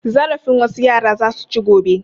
Zarafin wasu yara za su ci gobe.